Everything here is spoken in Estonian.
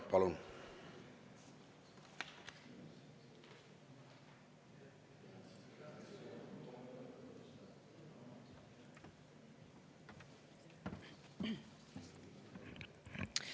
Palun!